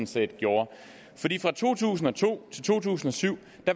set gjorde fra to tusind og to til to tusind og syv